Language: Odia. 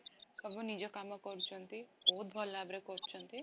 ସବୁ ନିଜ କାମ କରୁଛନ୍ତି ବହୁତ ଭଲ ଭାବରେ କରୁଛନ୍ତି